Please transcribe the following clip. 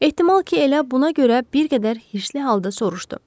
Ehtimal ki, elə buna görə bir qədər hirsli halda soruşdu.